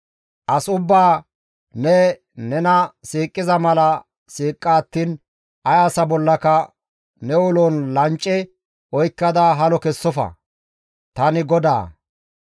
« ‹As ubbaa ne nena siiqiza mala siiqa attiin ay asa bollaka ne ulon lancce oykkada halo kessofa; tani GODAA.